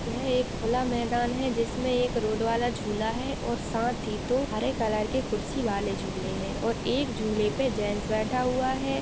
यह एक खुला मैदान है जिसमे एक रोड वाला झूला है और साथ ही दो हरे कलर के कुर्सी वाले झूले है और एक झूले पे जेंट्स बैठा हुआ है --